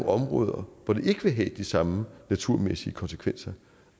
områder hvor det ikke vil have de samme naturmæssige konsekvenser